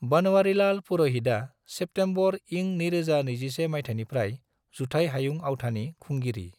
बनवारीलाल पुरोहितआ सेप्टेम्बर इं 2021 माइथायनिफ्राय जुथाइ हायुं आवथानि खुंगिरि।